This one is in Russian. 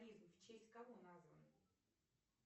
в честь кого назван